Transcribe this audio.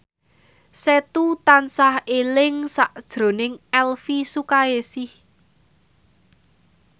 Setu tansah eling sakjroning Elvi Sukaesih